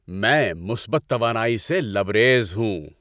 میں مثبت توانائی سے لبریز ہوں۔